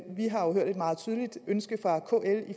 vi har jo hørt et meget tydeligt ønske fra kl